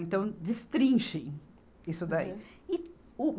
Então, destrinchem isso daí. e o